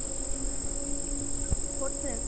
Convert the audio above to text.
fourth চেম